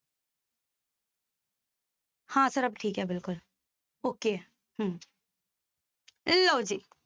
ਹਾਂ sir ਅਬ ਠੀਕ ਹੈ ਬਿਲਕੁਲ okay ਹੈ ਹਮ ਲਓ ਜੀ।